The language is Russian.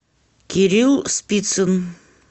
кирилл спицын